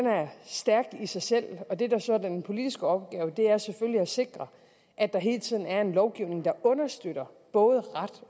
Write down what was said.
stærk i sig selv og det der så er den politiske opgave er selvfølgelig at sikre at der hele tiden er en lovgivning der understøtter både ret